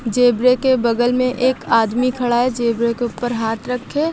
zebra के बगल में एक आदमी खड़ा है जेब्रा के ऊपर हाथ रख के--